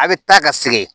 A bɛ taa ka segin